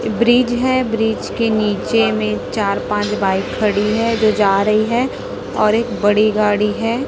Bridge है bridge के नीचे में चार पांच बाइक खड़ी है जो जा रही है और एक बड़ी गाड़ी है।